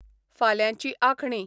फाल्यांची आंखणी